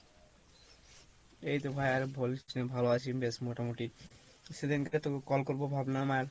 এইতো ভাই আর বলিস না, ভালো আছি বেশ মোটামোটি সেদিনকা তোকে call করবো ভাবলাম আর,